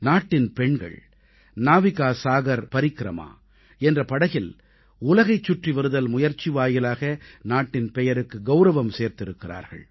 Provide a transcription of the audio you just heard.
நாட்டின் பெண்கள் நாவிகா சாகர் பரிக்ரமா என்ற படகில் உலகைச் சுற்றி வருதல் முயற்சி வாயிலாக நாட்டின் பெயருக்கு கௌரவம் சேர்த்திருக்கிறார்கள்